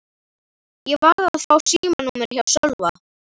Ég varð að fá símanúmerið hjá Sölva.